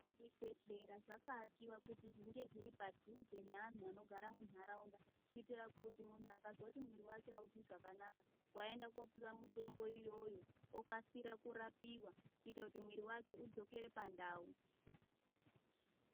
Zvibhedhlera zvakaakiwa kuti zvinge zviri padhuze neantu anogara mundaraunda kuitira kuti munhu akazwa kuti mwiri wake auzwi zvakanaka waenda kopiwa mitombo iyoyo okasira kurapiwa kuita kuti mwiri wake udzokere pandau.